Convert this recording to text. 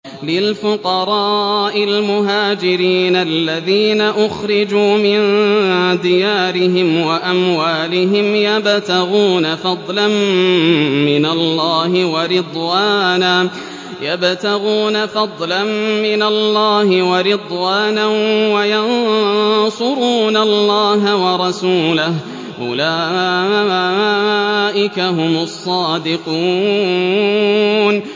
لِلْفُقَرَاءِ الْمُهَاجِرِينَ الَّذِينَ أُخْرِجُوا مِن دِيَارِهِمْ وَأَمْوَالِهِمْ يَبْتَغُونَ فَضْلًا مِّنَ اللَّهِ وَرِضْوَانًا وَيَنصُرُونَ اللَّهَ وَرَسُولَهُ ۚ أُولَٰئِكَ هُمُ الصَّادِقُونَ